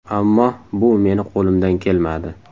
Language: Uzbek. Ammo bu meni qo‘limdan kelmadi.